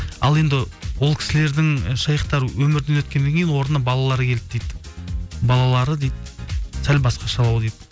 ал енді ол кісілердің шейхтар өмірден өткеннен кейін орнына балалар келді дейді балалары дейді сәл басқашалау дейді